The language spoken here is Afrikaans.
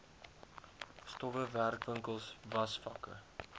stowwe werkwinkels wasvakke